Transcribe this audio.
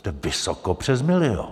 Jste vysoko přes milion.